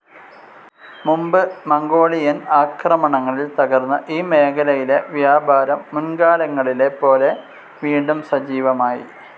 മുൻപ് മംഗോളിയൻ ആക്രമണങ്ങളിൽ തകർന്ന ഈ മേഖലയിലെ വ്യാപാരം മുൻ‌കാലങ്ങളിലെപ്പോലെ വീണ്ടും സജീവമായി.